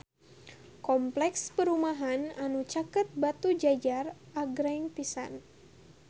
Kompleks perumahan anu caket Batujajar agreng pisan